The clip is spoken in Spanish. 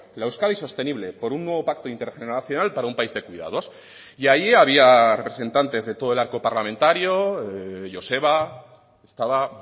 la euskadi sostenible por un nuevo pacto intergeneracional para un país de cuidados y ahí había representantes de todo el arco parlamentario joseba estaba